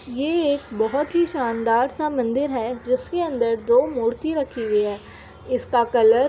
ये एक बोहोत ही शानदार सा मंदिर है जिसके अंदर दो मूर्ति रखी हुई हैं। इसका कलर --